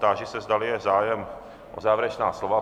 Táži se, zdali je zájem o závěrečná slova.